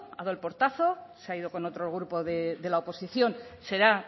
ha dado el portazo se ha ido con otro grupo de la oposición será